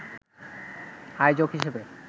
আয়োজক হিসেবে